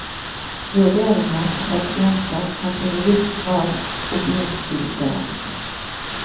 Vurderinger av pasienter kan til en viss grad objektiviseres.